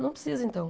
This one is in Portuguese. Não precisa, então.